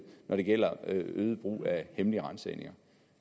når det gælder øget brug af hemmelige ransagninger